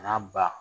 N'a ba